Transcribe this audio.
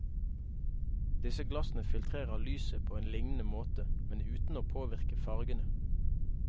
Disse glassene filtrerer lyset på en lignende måte, men uten å påvirke fargene.